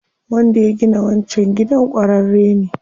Wanda ya gina wancan gidan ƙwararre ne.